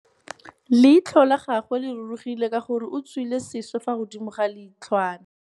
Leitlhô la gagwe le rurugile ka gore o tswile sisô fa godimo ga leitlhwana.